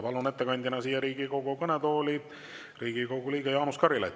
Palun ettekandjana siia Riigikogu kõnetooli Riigikogu liikme Jaanus Karilaiu.